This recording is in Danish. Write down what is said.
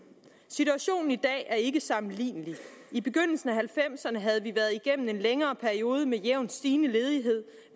situationen i dag er ikke sammenlignelig i begyndelsen af nitten halvfemserne havde vi været igennem en længere periode med jævnt stigende ledighed